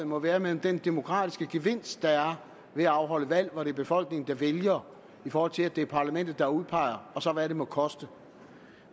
må være mellem den demokratiske gevinst der er ved at afholde valg hvor det er befolkningen der vælger i forhold til at det er parlamentet der udpeger og så hvad det må koste